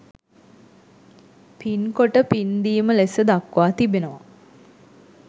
පින්කොට පින්දීම ලෙස දක්වා තිබෙනවා.